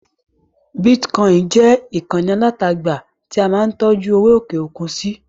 Bítíkọinì jẹ́ ìkànnì alátagbà tí a máa ń tọ́jú owó òkè-òkun sí.